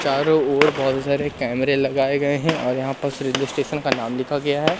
चारों ओर बहोत सारे कैमरे लगाए गए हैं और यहां पर रेलवे स्टेशन का नाम लिखा गया है।